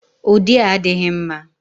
Ụdị a adịghị mma.